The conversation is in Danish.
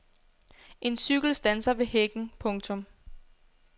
En cykel standser ved hækken. punktum